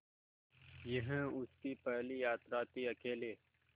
यह उसकी पहली यात्रा थीअकेले